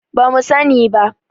Ba mu sani ba.